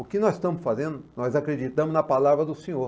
O que nós estamos fazendo, nós acreditamos na palavra do senhor.